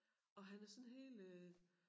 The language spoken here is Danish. Og han er sådan helt øh